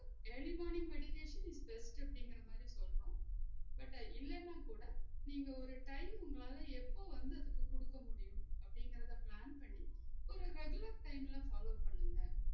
Early morning meditation is best அப்டிங்குற மாதிரி சொல்றோம் but இல்லனா கூட நீங்க ஒரு time உங்களால எப்ப வந்து அதுக்கு குடுக்க முடியும் அப்டிங்குரத plan பண்ணி ஒரு reagular time ல follow பண்ணுங்க